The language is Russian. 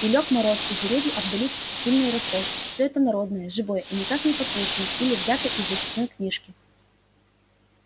и лёг мороз и деревья обдались сильной росой всё это народное живое и никак не подслушанное или взятое из записной книжки